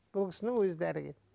бұл кісінің өзі дәрігер